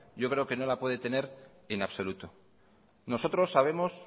yo creo que no la puede tener en absoluto nosotros sabemos